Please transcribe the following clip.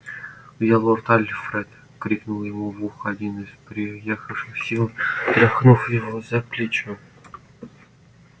где лорд альфред крикнул ему в ухо один из приехавших с силой тряхнув его за плечо